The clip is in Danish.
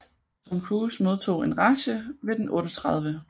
Tom Cruise modtog en Razzie ved den 38